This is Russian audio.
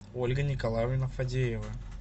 ольга николаевна фадеева